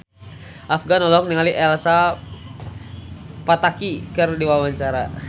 Afgan olohok ningali Elsa Pataky keur diwawancara